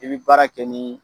I bɛ baara kɛ ni